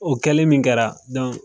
O kɛlen min kɛra